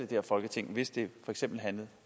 her folketing hvis det for eksempel handlede